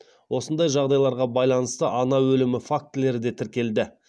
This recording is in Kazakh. осындай жағдайларға байланысты ана өлімі фактілері де тіркелді